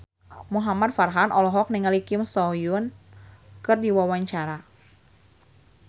Muhamad Farhan olohok ningali Kim So Hyun keur diwawancara